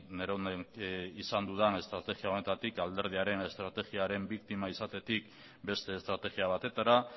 neronen izan dudan estrategia honetatik alderdiaren estrategiaren biktima izatetik beste estrategia batetara